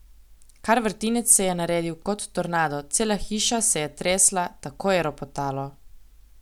Kar vrtinec se je naredil, kot tornado, cela hiša se je tresla, tako je ropotalo.